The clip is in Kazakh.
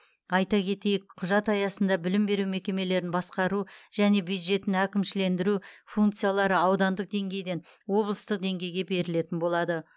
айта кетейік құжат аясында білім беру мекемелерін басқару және бюджетін әкімшілендіру функциялары аудандық деңгейден облыстық деңгейге берілетін болады